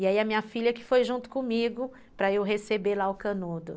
E aí, a minha filha que foi junto comigo para eu receber lá o canudo.